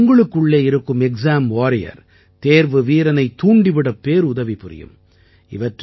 இவை உங்களுக்குள்ளே இருக்கும் தேர்வு வீரனைத் தூண்டி விடப் பேருதவி புரியும்